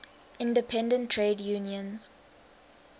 independent trade unions